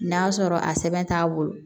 N'a sɔrɔ a sɛbɛn t'a bolo